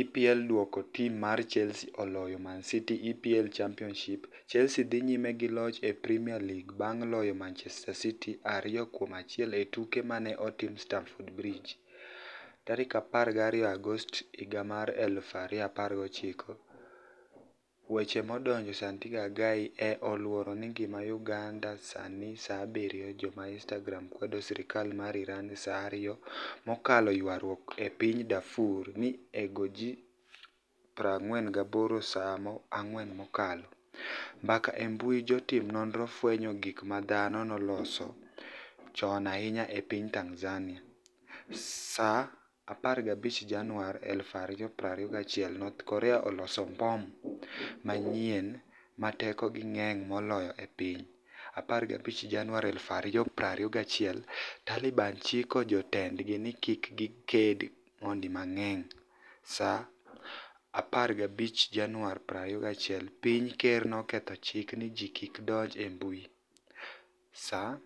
EPL duoko tim mar Chelsea oloyo Mani City EPL Championiship, Chelsea dhi niyime gi loch e Premier League banig' loyo Manichester City 2-1 e tuke ma ni e otim Staniford Bridge. 12 Agost 2019 Weche madonigo Saanito Agai e 'oluoro nigimani e'Uganida Saa 7 mokalo Jo-Inistagram kwedo sirkal mar Irani Saa 2 mokalo Ywaruok e piniy Darfur oni ego ji 48Saa 4 mokalo. Mbaka e mbui Jotim noniro fweniyo gik ma dhano noloso choni ahiniya e piniy Tanizaniia. Saa 15 Janiuar 2021 north Korea oloso mbom maniyieni 'ma tekoni e nig'eniy moloyo e piniy . 15 Janiuar 2021 Talibani chiko jotenidgi nii kik gikenid moni manig'eniy. Saa 15 Janiuar 2021 Piniy ma ker noketo chik nii ji kik donij e mbui .Saa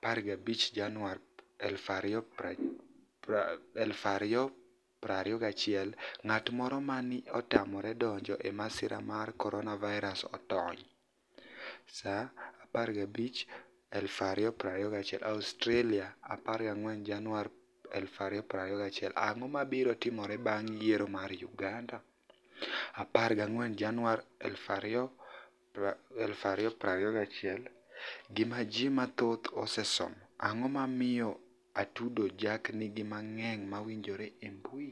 15 Janiuar 2021 nig'at moro ma ni e otamore donij e masira mar koroniavirus otoniy . Saaa 15 Janiuar 2021 Australia 14 Janiuar 2021 Anig'o mabiro timore banig' yiero mar Uganida? 14 Janiuar 2021 Gima Ji mathoth Osesomo . Anig'o momiyo Atudo jack niigi ji manig'eniy ma winije e e mbui?